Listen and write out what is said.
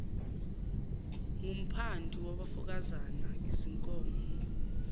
ngumphandu wabafokazana izinkomo